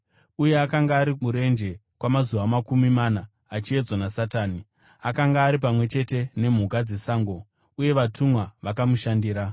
uye akanga ari murenje kwamazuva makumi mana, achiedzwa naSatani. Akanga ari pamwe chete nemhuka dzesango uye vatumwa vakamushandira.